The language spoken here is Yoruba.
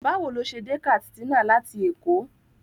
Báwo ló ṣe dé Katsina láti Èkó?